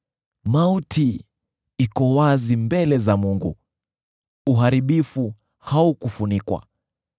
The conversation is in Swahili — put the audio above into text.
Mauti iko wazi mbele za Mungu; Uharibifu haukufunikwa.